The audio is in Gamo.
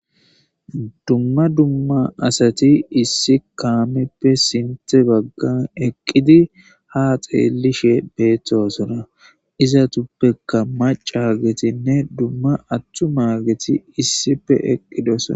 Dumma dumma asati issi kaameppe sinthe baggan eqqidi ha xeelishe beeththosona iza tuppeka macaagetinne dumma atthu maageti issippe eqqidosona.